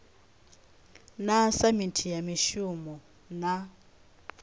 na samithi ya mishumo na